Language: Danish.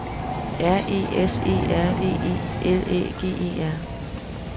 R E S E R V E L Æ G E R